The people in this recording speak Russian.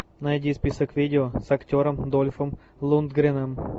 найди список видео с актером дольфом лундгреном